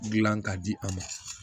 Gilan ka di an ma